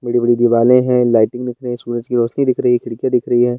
बड़ी-बड़ी दीवालें हैं लाइटिंग सूरज की रौशनी दिख रही है खिड़की दिख रही है।